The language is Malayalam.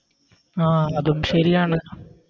ആഹ് അതും ശരിയാണ്